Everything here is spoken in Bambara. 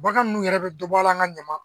Bagan ninnu yɛrɛ bɛ dɔ bɔ a la an ka ɲaman